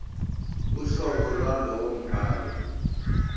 uhlobo lwalowo mbhalo